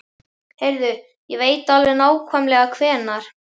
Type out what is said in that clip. Heyrðu, ég veit alveg nákvæmlega hvenær.